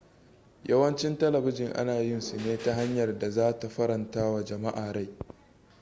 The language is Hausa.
yawancin telebijin ana yin su ne ta hanyar da za ta faranta wa jama'a rai